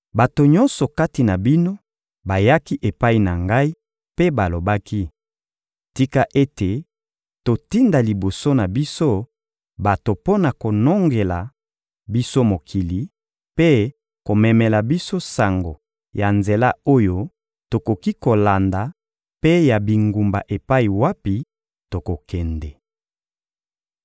Bato nyonso kati na bino bayaki epai na ngai mpe balobaki: — Tika ete totinda liboso na biso bato mpo na konongela biso mokili mpe komemela biso sango ya nzela oyo tokoki kolanda mpe ya bingumba epai wapi tokokende.